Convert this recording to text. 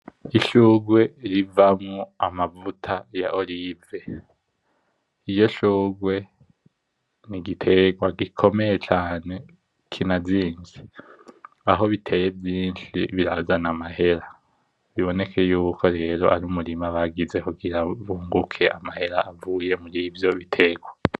Ishurwe rivamwo amavuta ya erayo. Iryo shurwe n' igitegwa gikomeye cane kinazimvye, aho biteye vyinshi birazana amahera, biboneke yuko arumurima bagize kugira bunguke amahera avuye murivyo biterwa.